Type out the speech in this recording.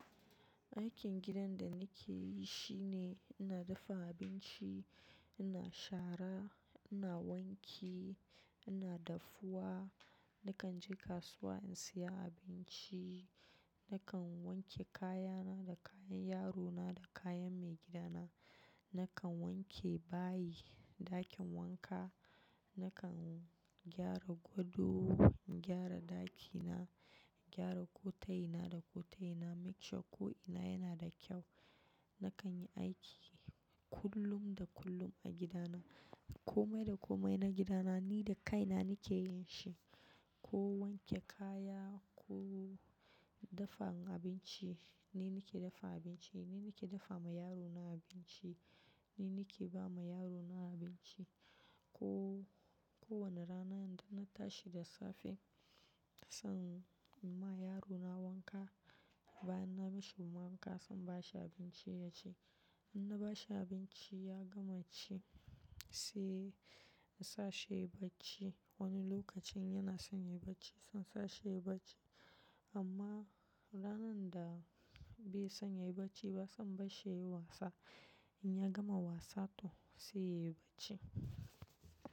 Aikin gidan da nike yi shine ina dafa abinci, ina shara, ina wanki, ina daffuwa, nakan je kasuwa in saya abinci, nakan wanke kayana da kayan yarona da kayan maigidana. Nakan wanke bayi, ɗakin wanka, nakan gyara gado, gyara ɗakina, gyara ƙota ina da ƙota ina, make sure ko ina yana da kyau. Nakan yi aiki kullum da kullum a gidana komai da komai na gida na ni da kaina nike yin shi. Ko wanke kaya ko dafa abinci, ni nike dafa abinci, ni nike dafa ma yarona abinci, ni nike ba ma yarona abinci. Ko-kowane rana idan na tashi da safe, nasan in ma yarona wanka bayan na bashi wanƙa, sai in bashi abinci yaci. In na bashi abinci ya gama ci, sai in sa shi ya yi bacci. Wani lokacin yana son ya yi bacci, son sa shi ya yi bacci amma ranar da bai son ya yi bacci ba, zan bar shi ya yi wasa. In ya gama wasa to sai ya yi bacci.